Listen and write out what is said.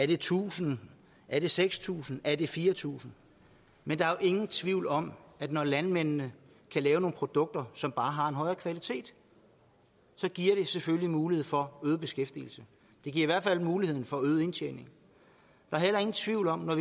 det tusind er det seks tusind er det fire tusind men der er jo ingen tvivl om at når landmændene kan lave nogle produkter som bare har en højere kvalitet så giver det selvfølgelig mulighed for øget beskæftigelse det giver i hvert fald mulighed for øget indtjening der er heller ingen tvivl om at